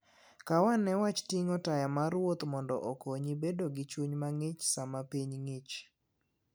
Kaw ane wach ting'o taya mar wuoth mondo okonyi bedo gi chuny mang'ich sama piny ng'ich.